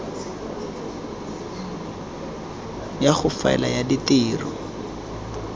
ya go faela ya ditiro